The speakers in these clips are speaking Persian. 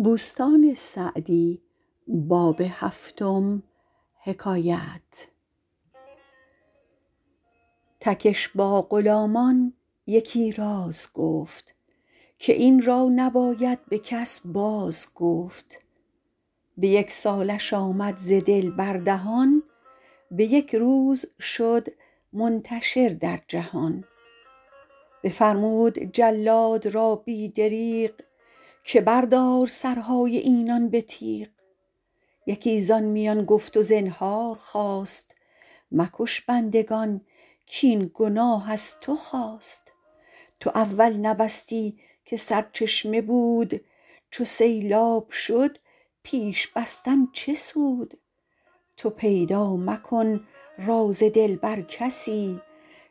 تکش با غلامان یکی راز گفت که این را نباید به کس باز گفت به یک سالش آمد ز دل بر دهان به یک روز شد منتشر در جهان بفرمود جلاد را بی دریغ که بردار سرهای اینان به تیغ یکی زآن میان گفت و زنهار خواست مکش بندگان کاین گناه از تو خاست تو اول نبستی که سرچشمه بود چو سیلاب شد پیش بستن چه سود تو پیدا مکن راز دل بر کسی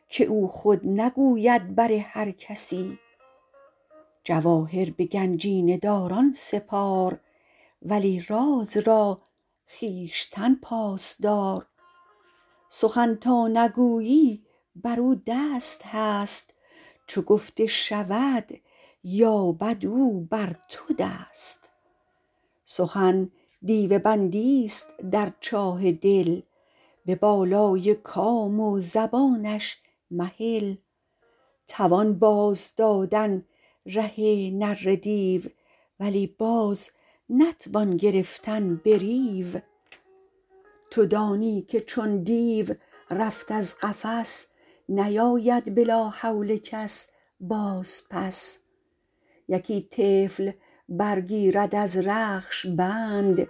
که او خود نگوید بر هر کسی جواهر به گنجینه داران سپار ولی راز را خویشتن پاس دار سخن تا نگویی بر او دست هست چو گفته شود یابد او بر تو دست سخن دیو بندی است در چاه دل به بالای کام و زبانش مهل توان باز دادن ره نره دیو ولی باز نتوان گرفتن به ریو تو دانی که چون دیو رفت از قفس نیاید به لا حول کس باز پس یکی طفل بر گیرد از رخش بند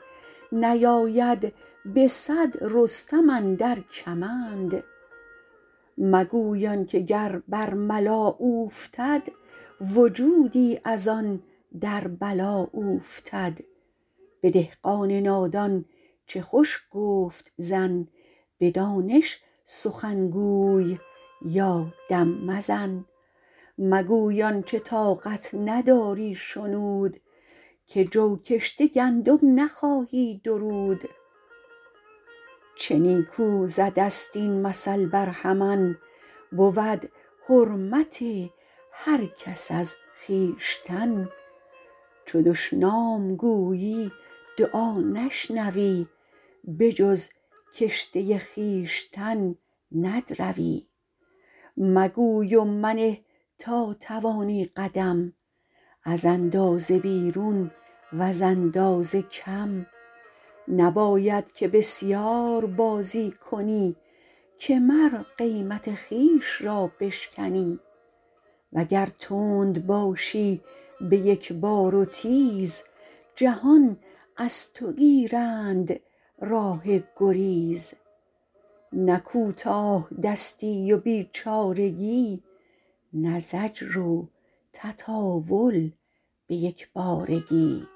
نیاید به صد رستم اندر کمند مگوی آن که گر بر ملا اوفتد وجودی از آن در بلا اوفتد به دهقان نادان چه خوش گفت زن به دانش سخن گوی یا دم مزن مگوی آنچه طاقت نداری شنود که جو کشته گندم نخواهی درود چه نیکو زده ست این مثل برهمن بود حرمت هر کس از خویشتن چو دشنام گویی دعا نشنوی به جز کشته خویشتن ندروی مگوی و منه تا توانی قدم از اندازه بیرون وز اندازه کم نباید که بسیار بازی کنی که مر قیمت خویش را بشکنی وگر تند باشی به یک بار و تیز جهان از تو گیرند راه گریز نه کوتاه دستی و بیچارگی نه زجر و تطاول به یک بارگی